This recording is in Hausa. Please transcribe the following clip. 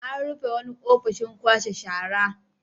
An rufe wani ofishin kwashe shara.